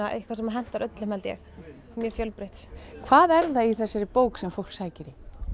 eitthvað sem hentar öllum held ég mjög fjölbreytt hvað er það í þessari bók sem fólk sækir